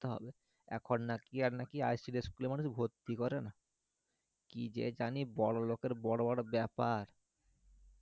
দিতে হবে এখন নাকি school এ মানুষ ভর্তি করে না কি যে জানি বড়ো লোকের বড়ো বড়ো ব্যাপার